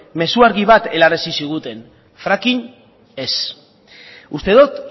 mezu argi bat helarazi ziguten fracking ez uste dut